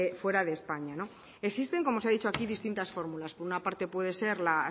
fuera de españa existen como se ha dicho aquí distintas fórmulas por una parte puede ser la